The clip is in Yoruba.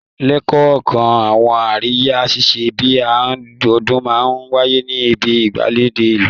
Lẹ́kọ̀ọ̀kan, àwọn àríyá ṣíṣe bí i ọdún máa ń wáyé ní ibi gbàgede ìlú